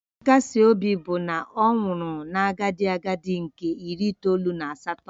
Nkasi obi bụ na ọ nwụrụ na agadi agadi nke iri itoolu na asatọ